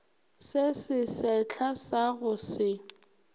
se sesehla sa go se